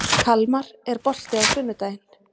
Kalmar, er bolti á sunnudaginn?